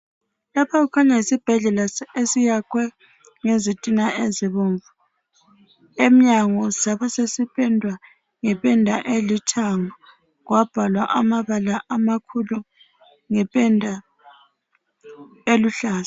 Lapha kukhanya yisibhedlela esiyakhwe ngezintina ezibomvu emnyango sabe sesipendwa ngependa elithanga sabhalwa amabala amakhulu ngependa eluhlaza.